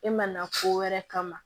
E mana ko wɛrɛ kama